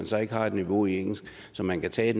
så ikke har et niveau i engelsk så man kan tage